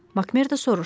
Makmerdo soruşdu.